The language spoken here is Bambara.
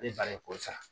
Ne ba ye kɔri sa